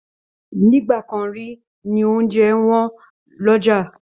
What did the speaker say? Nígbà kan rí ní oúnjẹ wọ́n lọ́jà